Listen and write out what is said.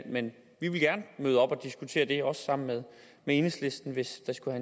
men vi vil gerne møde op og diskutere det også sammen med enhedslisten hvis det skulle